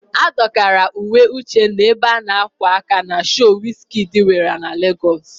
A dọkara uwe Uchenna ebe a na-ákwà aka na shoo Wiz Kidi nwere na Legọs.